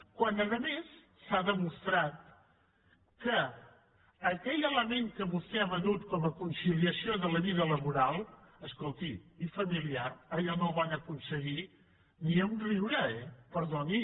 quan a més s’ha demostrat que aquell element que vostè ha venut com a conciliació de la vida laboral i familiar escolti allò no ho van aconseguir ni de riure eh perdoni